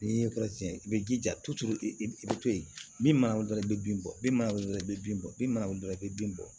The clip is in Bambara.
N'i ye kɔrɔsiyɛn i bɛ jija i bɛ i bɛ to yen min mana wolo i bɛ bin bɔ bin mana wuli dɔrɔn i bɛ bin bɔ bin mana wuli dɔrɔn i bɛ bin bɔ